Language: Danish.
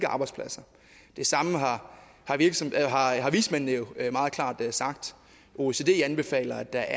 arbejdspladser det samme har har vismændene jo meget klart sagt oecd anbefaler at der